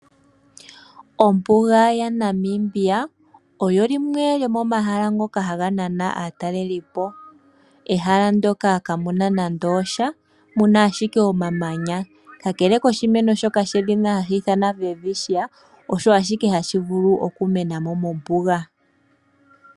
Ombuga ya Namibia oyo limwe lyomo mahala ngoka haga nana aatalelipo. Ehala ndyoka kamuna nandoo sha, muna ashike omamanya kakele koshi memo shoka shedhina hashi thanwa welwitchia osho Ashike hashi vulu oku mena mo mombuga.